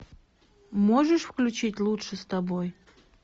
можешь включить лучше с тобой